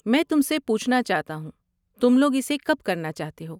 میں تم سے پوچھنا چاہتا ہوں، تم لوگ اسے کب کرنا چاہتے ہو؟